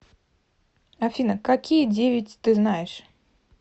афина какие девять ты знаешь